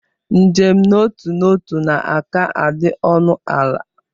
Njem n'otu n'ọtu na-aka adị ọnụ ala.